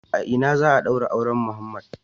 A ina za a daura auren Muhammed?